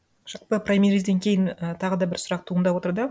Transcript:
жалпы праймеризден кейін і тағыда бір сұрақ туындап отыр да